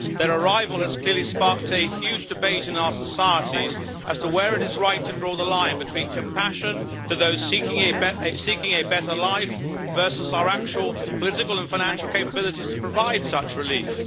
Their arrival has clearly sparked a huge debate in our societies as to where it is right to draw the line between compassion to those seeking a better life versus our actual political and financial capabilities to provide such relief.